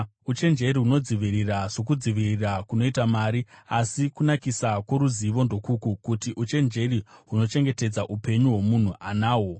Uchenjeri hunodzivirira sokudzivirira kunoita mari, asi kunakisa kworuzivo ndokuku: kuti uchenjeri hunochengetedza upenyu hwomunhu anahwo.